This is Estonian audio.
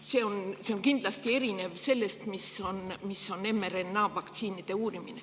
See on kindlasti erinev sellest, mis on mRNA-vaktsiinide uurimine.